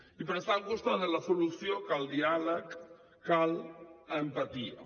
i per estar al costat de la solució cal diàleg cal empatia